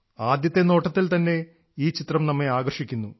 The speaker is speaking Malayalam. ആദ്യത്തെ നോട്ടത്തിൽ തന്നെ ഈ ചിത്രം നമ്മെ ആകർഷിക്കുന്നു